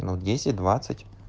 ну десять двадцать